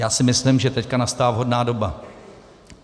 Já si myslím, že teď nastala vhodná doba.